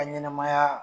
Ka ɲɛnɛmaya